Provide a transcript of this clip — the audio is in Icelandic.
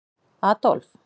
Adólf